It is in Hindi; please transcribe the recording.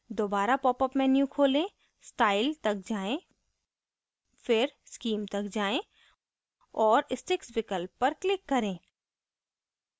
दोबारा popअप menu खोलें style तक जाएँ फिर scheme तक जाएँ